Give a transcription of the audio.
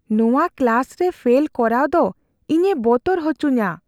ᱱᱚᱣᱟ ᱠᱞᱟᱥ ᱨᱮ ᱯᱷᱮᱞ ᱠᱚᱨᱟᱣ ᱫᱚ ᱤᱧᱮ ᱵᱚᱛᱚᱨ ᱦᱚᱪᱚᱧᱟ ᱾